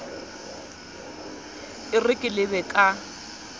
e re ke lebe ka